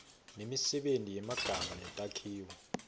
nemisebenti yemagama netakhiwo